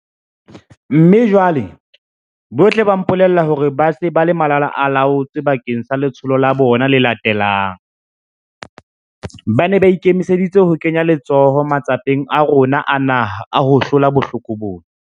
Mme jwale, bohle ba mpolella hore ba se ba le malalaalaotswe bakeng sa letsholo la bona le latelang. Ba ne ba ikemiseditse ho kenya letsoho matsapeng a rona a naha a ho hlola bohloko bona.